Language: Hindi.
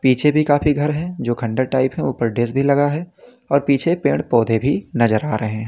पीछे भी काफी घर है जो खंडहर टाइप हैं। ऊपर डिश भी लगा है और पीछे पेड़-पौधे भी नजर आ रहे हैं।